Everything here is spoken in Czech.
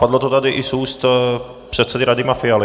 Padlo to tady i z úst předsedy Radima Fialy.